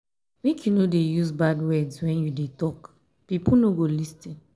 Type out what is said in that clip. make you no dey use bad words wen you dey tok pipo no go lis ten.